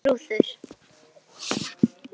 Arnar og Þrúður.